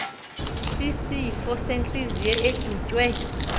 sisifo sentliziyo edutywe